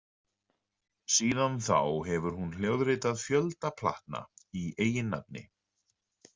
Síðan þá hefur hún hljóðritað fjölda platna í eigin nafni.